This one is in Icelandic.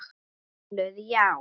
Valur: Já.